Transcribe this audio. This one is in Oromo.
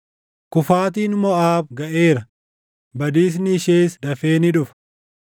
“Kufaatiin Moʼaab gaʼeera; badiisni ishees dafee ni dhufa.